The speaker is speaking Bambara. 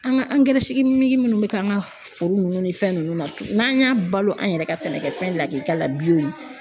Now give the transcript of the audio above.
An ka minnu bɛ k'an ka foro nunnu ni fɛn ninnu na n'an y'a balo an yɛrɛ ka sɛnɛkɛfɛn lakika la